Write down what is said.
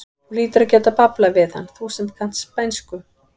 Þú hlýtur að geta bablað við hann, þú sem kannt spænsku!